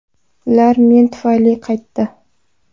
Ular men tufayli qaytdi!